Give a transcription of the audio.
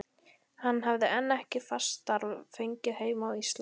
Hann hefði enn ekkert fast starf fengið heima á Íslandi.